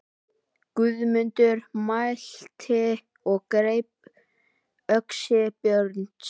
Guðmundur mælti og greip öxi Björns.